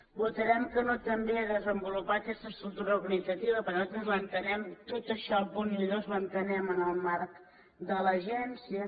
votarem que no també a desenvolupar aquesta estructura organitzativa perquè nosaltres l’entenem tot això els punts un i dos l’entenem en el marc de l’agència